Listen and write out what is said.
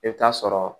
I bɛ taa sɔrɔ